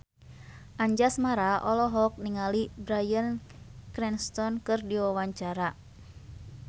Anjasmara olohok ningali Bryan Cranston keur diwawancara